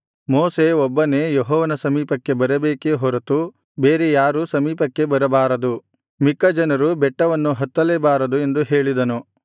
ಮೋಶೆ ಒಬ್ಬನೇ ಯೆಹೋವನ ಸಮೀಪಕ್ಕೆ ಬರಬೇಕೇ ಹೊರತು ಬೇರೆ ಯಾರು ಸಮೀಪಕ್ಕೆ ಬರಬಾರದು ಮಿಕ್ಕ ಜನರು ಬೆಟ್ಟವನ್ನು ಹತ್ತಲೇಬಾರದು ಎಂದು ಹೇಳಿದನು